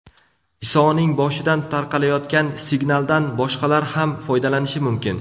Isoning boshidan tarqalayotgan signaldan boshqalar ham foydalanishi mumkin.